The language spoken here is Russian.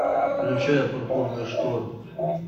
включай пурпурный шторм